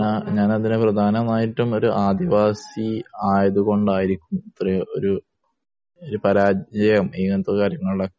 ഞാനതിനെ പ്രധാനമായിട്ടും ഒരു ആദിവാസി ആയതുകൊണ്ടായിരിക്കും ഇത്രയും ഒരു പരാജയം ഇങ്ങനത്തെ കാര്യങ്ങളിൽ ഒക്കെ